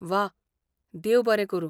व्वा! देव बरें करूं.